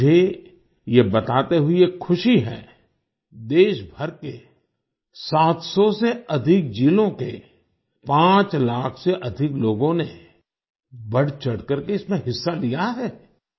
मुझे यह बताते हुए खुशी है देशभर के 700 से अधिक जिलों के 5 लाख से अधिक लोगों ने बढ़चढ़ कर इसमें हिस्सा लिया है